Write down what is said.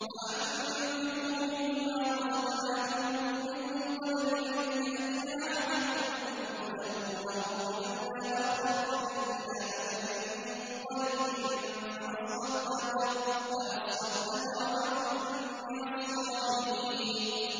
وَأَنفِقُوا مِن مَّا رَزَقْنَاكُم مِّن قَبْلِ أَن يَأْتِيَ أَحَدَكُمُ الْمَوْتُ فَيَقُولَ رَبِّ لَوْلَا أَخَّرْتَنِي إِلَىٰ أَجَلٍ قَرِيبٍ فَأَصَّدَّقَ وَأَكُن مِّنَ الصَّالِحِينَ